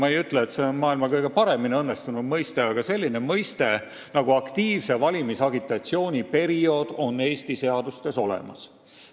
Ma ei ütle, et see on maailma kõige paremini õnnestunud mõiste, aga selline mõiste nagu "aktiivse valimisagitatsiooni periood" on olemas.